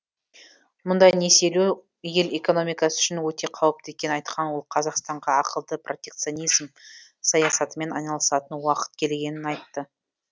мұндай несиелеу ел экономикасы үшін өте қауіпті екенін айтқан ол қазақстанға ақылды протекционизм саясатымен айналысатын уақыт келгенін айтты